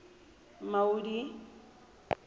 maudi